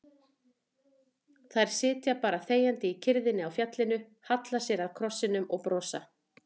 Þær sitja bara þegjandi í kyrrðinni á fjallinu, halla sér að krossinum og brosa.